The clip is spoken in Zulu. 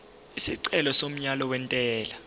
isicelo somyalo wentela